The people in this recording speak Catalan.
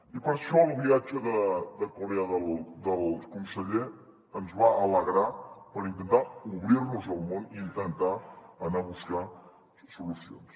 i per això el viatge a corea del conseller ens va alegrar per intentar obrir nos al món i intentar anar a buscar solucions